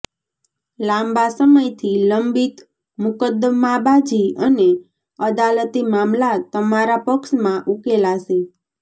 લાંબા સમય થી લંબિત મુક્દ્દમાંબાજી અને અદાલતી મામલા તમારા પક્ષ માં ઉકેલાશે